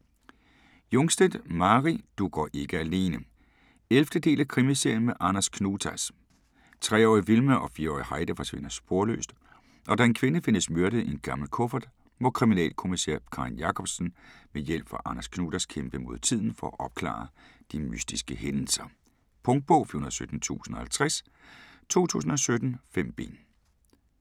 Jungstedt, Mari: Du går ikke alene 11. del af Krimiserien med Anders Knutas. Tre-årige Vilma og fire-årige Heidi forsvinder sporløst og da en kvinde findes myrdet i en gammel kuffert, må kriminalkommissær Karin Jacobsson med hjælp fra Anders Knutas kæmpe mod tiden for at opklare de mystiske hændelser. Punktbog 417050 2017. 5 bind.